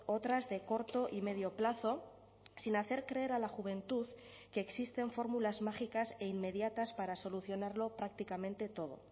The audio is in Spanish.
otras de corto y medio plazo sin hacer creer a la juventud que existen fórmulas mágicas e inmediatas para solucionarlo prácticamente todo